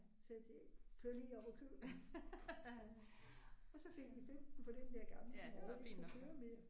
Sagde jeg til Erik kør lige op og køb den. Og så fik vi 15 for den der gamle som overhovedet ikke kunne køre mere